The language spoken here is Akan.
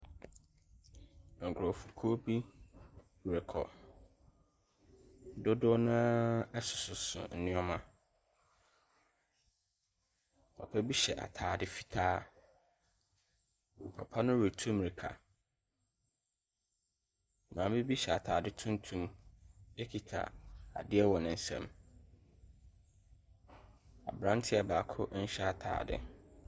Nkorɔfokuo bi rekɔ. Dodoɔ naa ɛsoso nnoɔma. Papa bi hyɛ ataade fitaa. Papa no retu mmirika. Maame bi hyɛ ataade tumtum ɛkita adeɛ wɔ ne nsam. Aberanteɛ baako nhyɛ ataade.